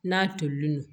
N'a tolilen don